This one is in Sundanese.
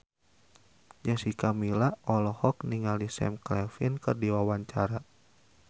Jessica Milla olohok ningali Sam Claflin keur diwawancara